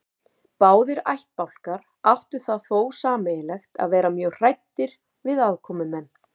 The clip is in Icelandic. Báðir ættbálkar áttu það þó sameiginlegt að vera mjög hræddir við aðkomumenn.